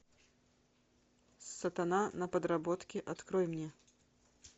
сатана на подработке открой мне